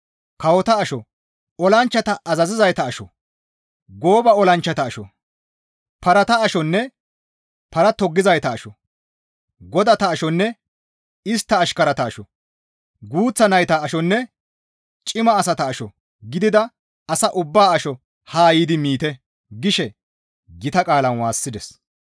Kawota asho, olanchchata azazizayta asho, gooba olanchchata asho, parata ashonne para toggizayta asho, godata ashonne istta ashkarata asho, guuththa nayta ashonne cima asata asho gidida asa ubbaa asho haa yiidi miite!» gishe gita qaalan waassides.